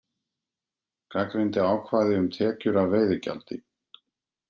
Gagnrýndi ákvæði um tekjur af veiðigjaldi